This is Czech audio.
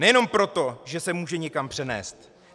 Nejenom proto, že se může někam přenést.